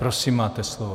Prosím, máte slovo.